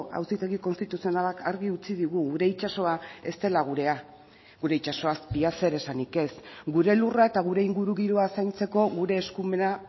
auzitegi konstituzionalak argi utzi digu gure itsasoa ez dela gurea gure itsaso azpia zer esanik ez gure lurra eta gure ingurugiroa zaintzeko gure eskumena